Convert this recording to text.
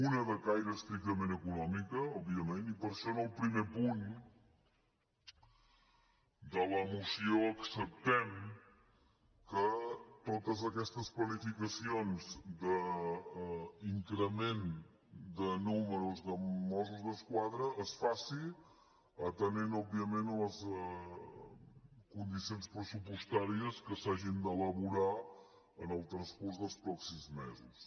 una de caire estrictament econòmic òbviament i per això en el primer punt de la moció acceptem que totes aquestes planificacions d’increment de nombre de mossos d’esquadra es faci atenent òbviament a les condicions pressupostàries que s’hagin d’elaborar en el transcurs dels pròxims mesos